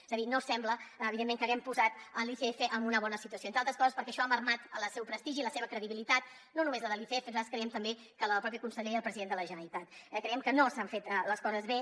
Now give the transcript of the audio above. és a dir no sembla evidentment que haguem posat l’icf en una bona situació entre altres coses perquè això ha minvat el seu prestigi i la seva credibilitat no només la de l’icf nosaltres creiem també que la del propi conseller i la del president de la generalitat eh creiem que no s’han fet les coses bé